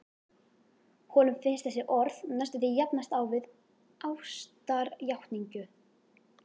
Honum finnst þessi orð næstum því jafnast á við ástarjátningu.